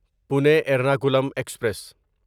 Pune Ernakulam express